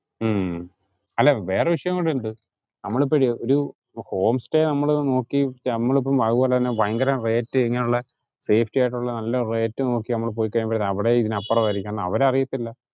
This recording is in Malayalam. ഉം അല്ല വേറൊരു വിഷയം കൂടി ഉണ്ട്. നമ്മളിപ്പൊഴു ഒരു home stay നമ്മള് നോക്കി നമ്മൾ ഇപ്പം അതുപോലെ തന്നെ ഭയങ്കര rate ഇങ്ങനുള്ള സേഫ്റ്റി ആയിട്ടുള്ള നല്ല rate നോക്കി നമ്മള് പോയി കഴിയുമ്പോഴേ അവിടേം ഇതിനു അപ്പറം ആയിരിക്കും കാരണം അവരറിയത്തില്ല.